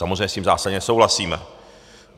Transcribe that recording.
Samozřejmě s tím zásadně nesouhlasím.